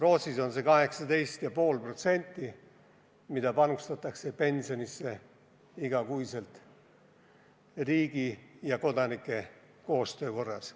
Rootsis panustatakse iga kuu pensionisse 18,5% riigi ja kodanike koostöö korras.